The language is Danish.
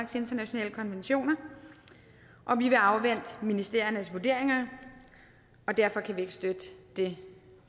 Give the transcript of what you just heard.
til internationale konventioner og vi vil afvente ministeriernes vurderinger derfor kan vi ikke støtte det